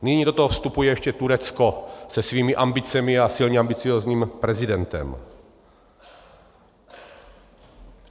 Nyní do toho vstupuje ještě Turecko se svými ambicemi a silně ambiciózním prezidentem.